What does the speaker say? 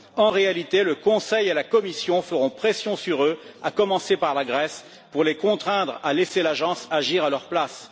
En réalité, le Conseil et la Commission feront pression sur eux, à commencer par la Grèce, pour les contraindre à laisser l'agence agir à leur place.